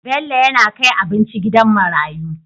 Bello yAna kai abinci gidan marayu